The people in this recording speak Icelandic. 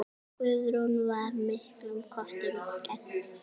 Guðrún var miklum kostum gædd.